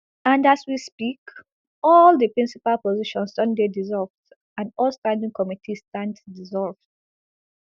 and as we speak all di principal positions don dey dissolved and all standing committees stand dissolved